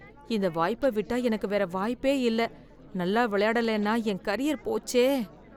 இந்த வாய்ப்பை விட்டா எனக்கு வேற வாய்ப்பே இல்ல, நல்ல விளையாடுலேன்னா என் கேரியர் போச்சே.